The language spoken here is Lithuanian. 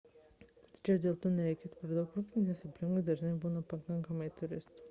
tačiau dėl to nereikėtų per daug rūpintis nes aplinkui dažnai būna pakankamai turistų